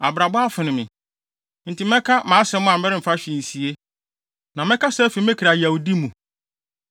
“Abrabɔ afono me; enti mɛka mʼasɛm a meremfa hwee nsie na mɛkasa afi me kra yawdi mu.